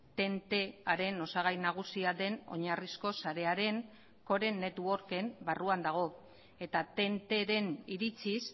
tentearen osagai nagusia den oinarrizko sarearen core networken barruan dago eta tenteren iritziz